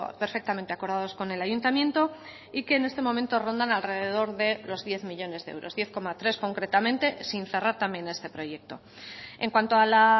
perfectamente acordados con el ayuntamiento y que en este momento rondan alrededor de los diez millónes de euros diez coma tres concretamente sin cerrar también este proyecto en cuanto a la